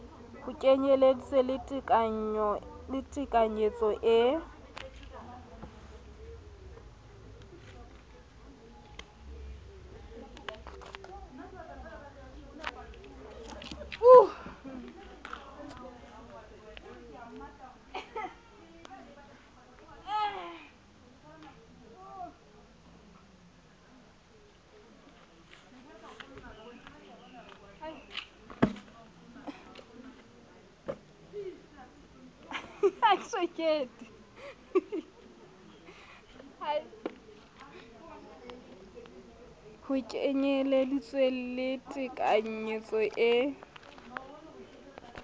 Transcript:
ho kenyeleditse le tekanyetso e